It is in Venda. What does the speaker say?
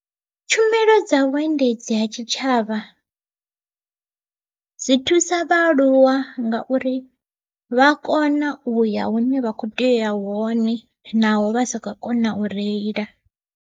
Tshumelo dza vhuendedzi ha tshitshavha, dzi thusa vhaaluwa ngauri vha kona uya hune vha kho tea uya hone naho vha sa khou kona u reila.